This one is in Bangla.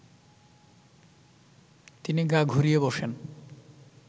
তিনি গা ঘুরিয়ে বসেন